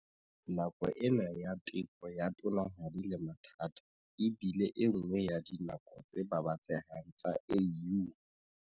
Nako ena ya teko ya tonanahadi le mathata e bile enngwe ya dinako tse babatsehang tsa AU.